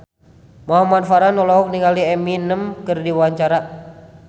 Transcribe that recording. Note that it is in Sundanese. Muhamad Farhan olohok ningali Eminem keur diwawancara